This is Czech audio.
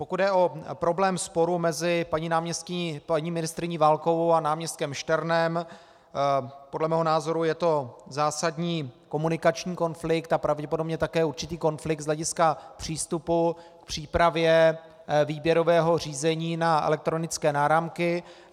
Pokud jde o problém sporu mezi paní ministryní Válkovou a náměstkem Šternem, podle mého názoru je to zásadní komunikační konflikt a pravděpodobně také určitý konflikt z hlediska přístupu k přípravě výběrového řízení na elektronické náramky.